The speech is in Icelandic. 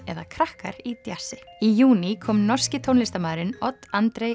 eða krakkar í djassi í júní kom norski tónlistarmaðurinn Odd